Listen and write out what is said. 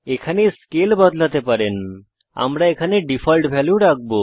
এখানে scale scale বদলাতে পারেন আমরা এখানে ডিফল্ট ভ্যালু রাখব